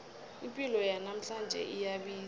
ipilo yanamhlanje iyabiza